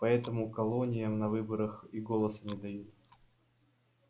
поэтому колониям на выборах и голоса не дают